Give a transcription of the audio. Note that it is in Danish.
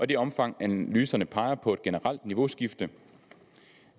det omfang analyserne peger på et generelt niveauskifte